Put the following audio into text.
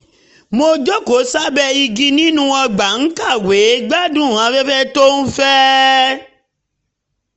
mo jókòó sábẹ́ igi nínú ọgbà ń kàwé gbádùn afẹ́fẹ́ tó ń fẹ́